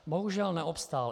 Bohužel neobstál.